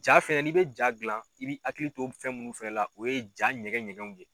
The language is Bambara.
Jaa fɛnɛ n'i bɛ jaa gilan i bɛ hakili to fɛn minnu fɛnɛ la o ye jaa ɲɛgɛn ɲɛgɛnw ye.